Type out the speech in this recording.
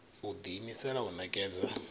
u ḓi imisela u ṋekedza